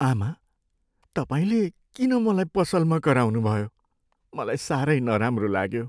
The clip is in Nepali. आमा! तपाईँले किन मलाई पसलमा कराउनुभयो, मलाई साह्रै नराम्रो लाग्यो।